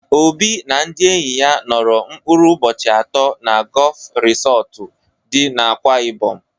Obi na ndị enyi ya nọrọ mkpụrụ ụbọchị atọ na Gọọf Risọtụ dị n'Akwa Ịbọm.